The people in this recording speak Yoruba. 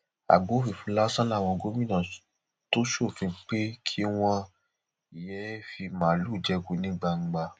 àgbá òfìfo lásán làwọn gómìnà tó ṣòfin pé kí wọn yéé fi màálùú jẹko ní gbangba